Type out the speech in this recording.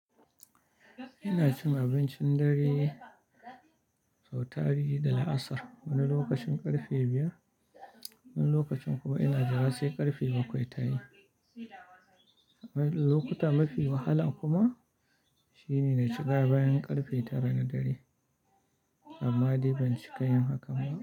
Ina cin abincin dare, sautari da la'asar wani lokacin ƙarfe biyar, wani lokacin kuma ina jira sai ƙarfe bakwai tayi. Lokuta mafi wahala kuma shine shiga bayan ƙarfe tara na dare, amma dai ban cika yin haka ba.